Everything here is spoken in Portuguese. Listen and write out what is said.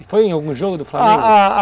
E foi em algum jogo do Flamengo? ah, ah